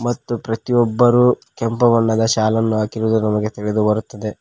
ಮತ್ತು ಪ್ರತಿಯೊಬ್ಬರೂ ಕೆಂಪು ಬಣ್ಣದ ಶಾಲನ್ನು ಹಾಕಿರುದು ನಮಗೆ ತಿಳಿದು ಬರುತ್ತದೆ.